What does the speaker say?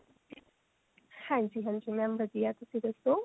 ਹਾਂਜੀ ਹਾਂਜੀ mam ਵਧੀਆ ਤੁਸੀਂ ਦੱਸੋ